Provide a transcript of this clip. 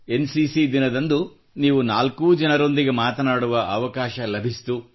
N C C ದಿನದಂದು ನೀವು ನಾಲ್ಕೂ ಜನರೊಂದಿಗೆ ಮಾತನಾಡುವ ಅವಕಾಶ ಲಭಿಸಿತು